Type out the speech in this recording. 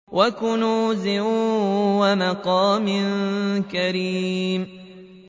وَكُنُوزٍ وَمَقَامٍ كَرِيمٍ